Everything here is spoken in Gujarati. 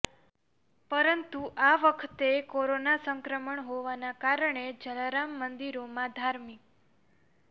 પરંતુ આ વખતે કોરોના સંક્રમણ હોવાના કારણે જલારામ મંદિરોમાં ધાર્મિક